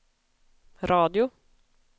radio